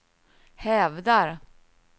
hävdar